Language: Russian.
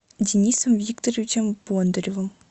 денисом викторовичем бондаревым